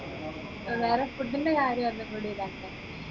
വേറെ food ന്റെ കാര്യം ഒന്നും കൂടി ഇതാക്കുവ